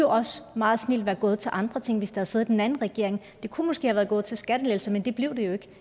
også meget snildt kunne være gået til andre ting hvis der havde siddet en anden regering de kunne måske være gået til skattelettelser men det blev de ikke